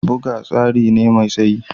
Buga tsari ne mai tsayi